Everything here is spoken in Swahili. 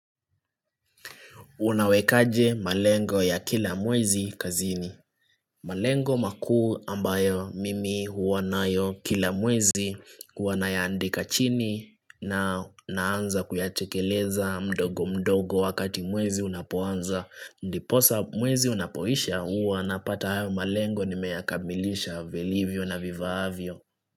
Unawekaje malengo ya kila mwezi kazini malengo makuu ambayo mimi huwa nayo kila mwezi huwa nayaandika chini na naanza kuyatekeleza mdogo mdogo wakati mwezi unapoanza Ndiposa mwezi unapoisha huwa napata hayo malengo nimeyakamilisha vilivyo na vifaavyo.